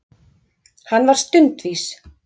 Hann var stundvís.